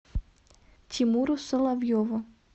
тимуру соловьеву